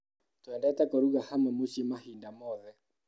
Twendete kũruga hamwe mũcii mahinda mothe.